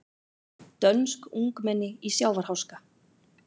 Dönsk ungmenni í sjávarháska